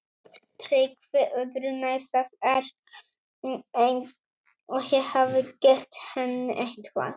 TRYGGVI: Öðru nær, það er eins og ég hafi gert henni eitthvað.